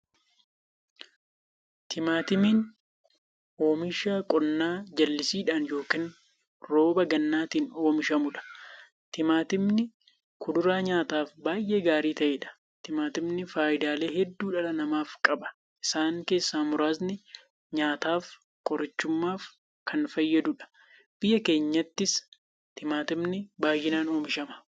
Timaatimni oomisha qonnaa jallisiidhan yookiin rooba gannaatin oomishamudha. Timaatimni kuduraa nyaataaf baay'ee gaarii ta'eedha. Timaatimni faayidaalee hedduu dhala namaaf qaba. Isaan keessaa muraasni; nyaataf, qorichumaafi kan fayyaduudha. Biyya keenyattis Timaatimni baay'inaan oomishama.